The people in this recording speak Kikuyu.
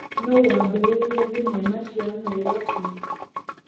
Nũũ waambĩrĩirie thenema cia Nairobi?